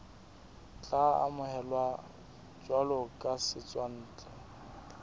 tla amohelwa jwalo ka setswantle